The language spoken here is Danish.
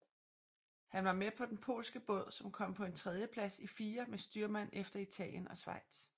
Han var med på den polske båd som kom på en tredjeplads i fire med styrmand efter Italien og Schweiz